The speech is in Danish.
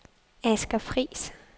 Asger Friis